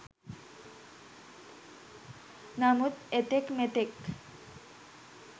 නමුත් එතෙක් මෙතෙක්